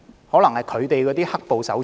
可能是他們的"黑暴"手足。